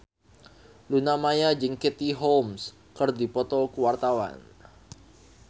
Luna Maya jeung Katie Holmes keur dipoto ku wartawan